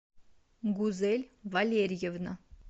гузель валерьевна